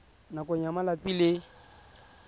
nakong ya malatsi a le